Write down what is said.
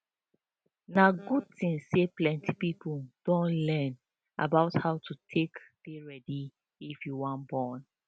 na good thing say plenty people don dey learn about how to take dey ready if you wan born